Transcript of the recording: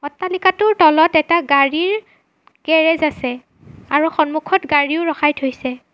অট্টালিকাটোৰ তলত এটা গাড়ীৰ গেৰেজ আছে আৰু সন্মুখত গাড়ীও ৰখাই থৈছে।